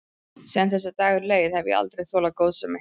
Síðan þessi dagur leið hef ég aldrei þolað góðsemi.